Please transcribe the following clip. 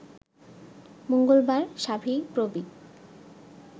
মঙ্গলবার শাবিপ্রবি